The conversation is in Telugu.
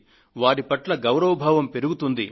వారి పట్ల గౌరవభావం పెరుగుతుంది